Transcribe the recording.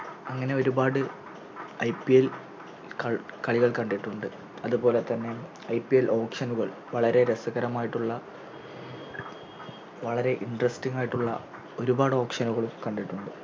അങ്ങനെ ഒരുപാട് IPL കളി കളികൾ കണ്ടിട്ടുണ്ട് അതുപോലെതന്നെ IPLAuction നുകൾ വളരെ രസകരമായിട്ടുള്ള വളരെ Intresting ആയിട്ടുള്ള ഒരുപാട് Auction കളും കണ്ടിട്ടുണ്ട്